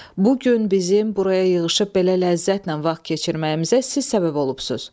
Bu gün bizim buraya yığışıb belə ləzzətlə vaxt keçirməyimizə siz səbəb olubsuz.